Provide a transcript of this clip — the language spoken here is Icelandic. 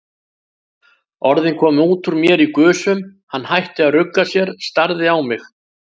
Orðin komu út úr mér í gusum, hann hætti að rugga sér, starði á mig.